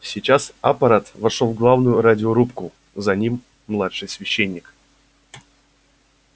сейчас апорат вошёл в главную радиорубку за ним младший священник